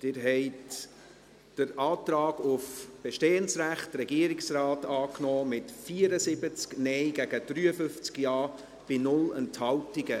Sie haben den Antrag auf bestehendes Recht des Regierungsrates angenommen, mit 74 Nein- gegen 53 Ja-Stimmen bei 0 Enthaltungen.